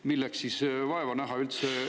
Milleks siis vaeva näha üldse?